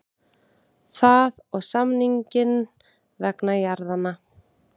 Það og samninginn vegna jarðanna.